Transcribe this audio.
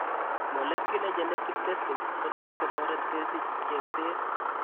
Molecular genetic testing' kotot kotoret kesich chengseet